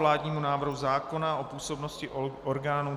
Vládní návrh zákona o působnosti orgánů